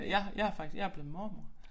Jeg har jeg faktisk jeg blevet mormor